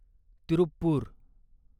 Tiruppur